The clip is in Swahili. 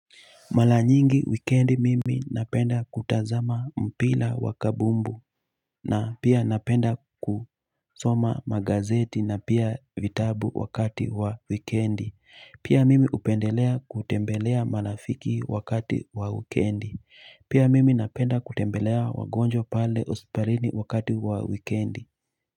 Mala nyingi wikendi mimi napenda kutazama mpila wakabumbu na pia napenda kusoma magazeti na pia vitabu wakati wa wikendi pia mimi upendelea kutembelea marafiki wakati wa wikendi pia mimi napenda kutembelea wagonjwa pale hospitalini wakati wa wikendi.